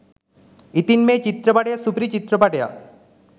ඉතින් මේ චිත්‍රපටිය සුපිරි චිත්‍රපටියක්